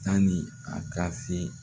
Tanni a ka se